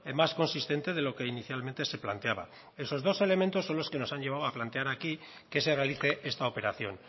más consistente de lo que inicialmente se planteaba esos dos elementos son los que nos han llevado a plantear aquí que se realice esta operación